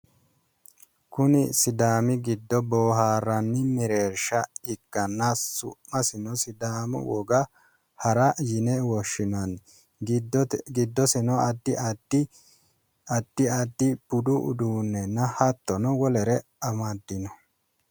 Kuni sidaami giddo boohaarranni mereershsha ikkanna su'masino sidaamu woga hara yine woshinanni. giddosino addi addi budu uduunnenna hattono wolere amaddino.